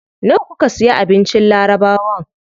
Nawa kuka siya abincin labarawan?